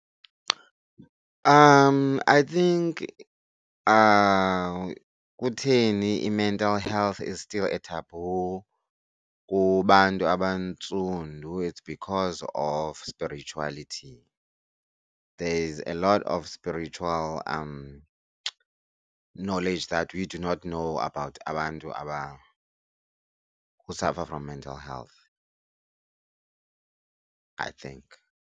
I think kutheni i-mental health is still a taboo kubantu abantsundu it's because of spiritualiity. There's a lot of spiritual knowledge that we do not know about abantu who suffer from mental health, I think.